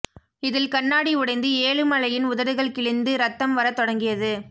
இதில் கண்ணாடி உடைந்து ஏழுமலையின் உதடுகள் கிழிந்து ரத்தம் வரத் தொடங்கியது